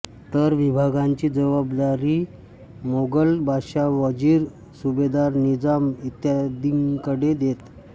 तर विभागांची जबाददारी मोगल बादशहा वजीर सुभेदार निजाम इत्यादींकडे देत